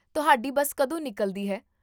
ਤੁਹਾਡੀ ਬੱਸ ਕਦੋਂ ਨਿਕਲਦੀ ਹੈ?